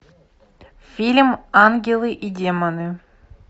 фильм ангелы и демоны